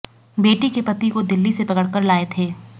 बेटी के पति को दिल्ली से पकड़कर लाए थे